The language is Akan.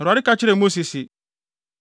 Awurade ka kyerɛɛ Mose se,